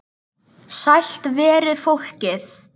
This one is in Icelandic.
Sælt veri fólkið!